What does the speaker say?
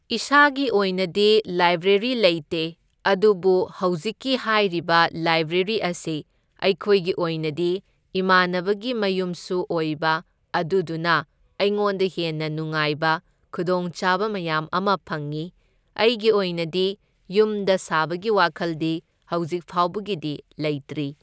ꯏꯁꯥꯒꯤ ꯑꯣꯏꯅꯗꯤ ꯂꯥꯏꯕ꯭ꯔꯦꯔꯤ ꯂꯩꯇꯦ ꯑꯗꯨꯕꯨ ꯍꯧꯖꯤꯛꯀꯤ ꯍꯥꯏꯔꯤꯕ ꯂꯥꯏꯕ꯭ꯔꯦꯔꯤ ꯑꯁꯤ ꯑꯩꯈꯣꯏꯒꯤ ꯑꯣꯏꯅꯗꯤ ꯏꯃꯥꯟꯅꯕꯒꯤ ꯃꯌꯨꯝꯁꯨ ꯑꯣꯏꯕ ꯑꯗꯨꯗꯨꯅ ꯑꯩꯉꯣꯟꯗ ꯍꯦꯟꯅ ꯅꯨꯡꯉꯥꯏꯕ ꯈꯨꯗꯣꯡꯆꯥꯕ ꯃꯌꯥꯝ ꯑꯃ ꯐꯪꯏ, ꯑꯩꯒꯤ ꯑꯣꯏꯅꯗꯤ ꯌꯨꯝꯗ ꯁꯥꯕꯒꯤ ꯋꯥꯈꯜꯗꯤ ꯍꯧꯖꯤꯛꯐꯥꯎꯕꯒꯤꯗꯤ ꯂꯩꯇ꯭ꯔꯤ꯫